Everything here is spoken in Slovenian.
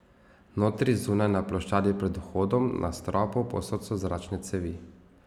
Notri, zunaj, na ploščadi pred vhodom, na stropu, povsod so zračne cevi.